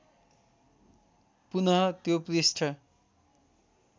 पुनः त्यो पृष्ठ